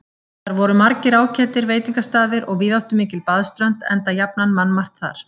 Þar voru margir ágætir veitingastaðir og víðáttumikil baðströnd, enda jafnan mannmargt þar.